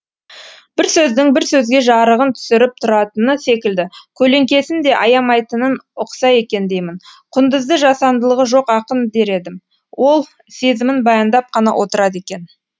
бір сөздің бір сөзге жарығын түсіріптұратыны секілді көлеңкесін де аямайтынын ұқса екен деймін құндызды жасандылығы жоқ ақын дер едім ол сезімін баяндап қана отырады екен